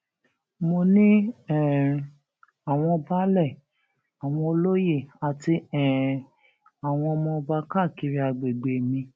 mo ní um àwọn baálé àwọn olóye àti um àwọn ọmọ ọba káàkiri àgbègbè mi